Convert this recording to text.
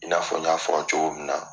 I n'a fɔ n y'a fɔ cogo mun na.